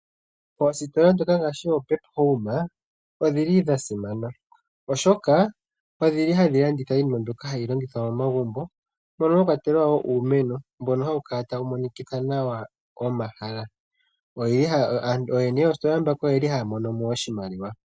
Oositola ngaaashi oPEP Home odhili dha simana oshoka, odhili hadhi landitha iinima mbyoka hayi longithwa momagumbo moka mwa kwatelwa uumeno mboka hawu Kala tawu monikitha nawa momahala . Ooyene yoositola ndhika oyeli haya mono mo oshimaliwa .